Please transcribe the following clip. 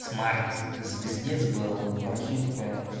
смарт звездец был прошивка